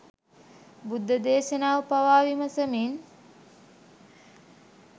බුද්ධ දේශනාව පවා විමසමින්